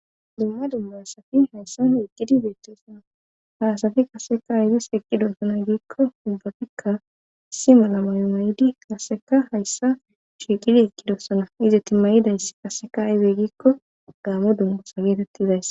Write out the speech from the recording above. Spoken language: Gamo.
Dumma dumma hasafi hayssan heqqidi beettesona haasafi qasseka aydis eqqidosona giikko hubbafikka simola mayomaydi kasseka hayssa sheeqidi eqqidossana ize timayidays qasseka aybe giikko gaamo dummusa geetettizays.